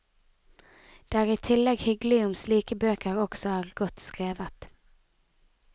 Det er i tillegg hyggelig om slike bøker også er godt skrevet.